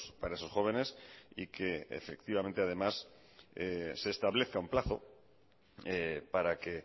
para esos jóvenes y que efectivamente además se establezca un plazo para que